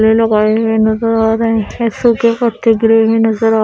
ये लोग आए है नजर आ --